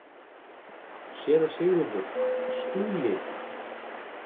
SÉRA SIGURÐUR: Skúli!